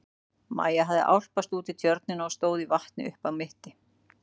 Maja hafði álpast út í tjörnina og stóð í vatni upp að mitti.